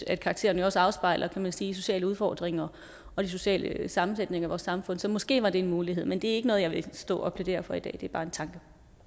at karakteren jo også afspejler kan man sige sociale udfordringer og de sociale sammensætninger i vores samfund så måske var det en mulighed men det er ikke noget jeg vil stå og plædere for i dag det er bare en tanke